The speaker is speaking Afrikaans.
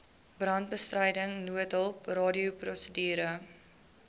brandbestryding noodhulp radioprosedure